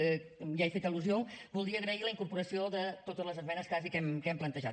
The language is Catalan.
que ja hi he fet al·lusió voldria agrair la incorporació de totes les esmenes quasi que hem plantejat